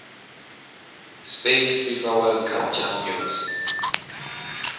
spain fifa world cup champions